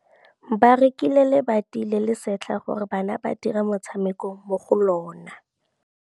Ba rekile lebati le le setlha gore bana ba dire motshameko mo go lona.